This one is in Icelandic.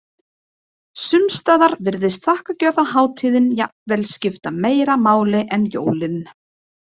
Sums staðar virðist þakkargjörðarhátíðin jafnvel skipta meira máli en jólin.